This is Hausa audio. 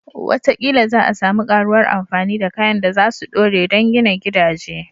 Wataƙila za a sami ƙaruwar amfani da kayan da za su dore don gina gidaje